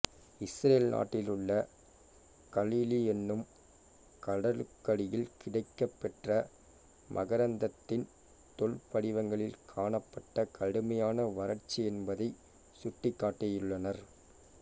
Israel நாட்டிலுள்ள Galilee எனும் கடலுக்கடியில் கிடைக்கப்பெற்ற மகரந்தத்தின் தொல்படிவங்களின் காணப்பட்ட கடுமையான வறட்சி என்பதைச் சுட்டிக்காட்டியுள்ளனர்